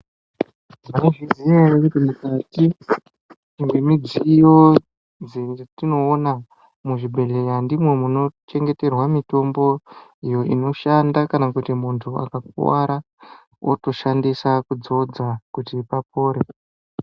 Munozviziya ere kuti mukati mwemidziyo dzetinoona muzvibhedhleya ndimwo munochengeterwa mitombo iyo inoshanda kana kuti muntu akakuwara otoshandisa kudzodza kuti papore